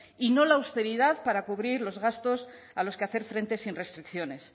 y no la austeridad para cubrir los gastos a los que hacer frente sin restricciones